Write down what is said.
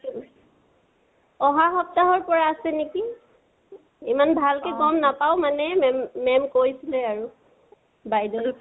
আহা সপ্তাহৰ পৰা আছে নেকি। ইমান ভালকে গম নাপাও মানে মেম মেম কৈছে আৰু বাইদেওয়ে।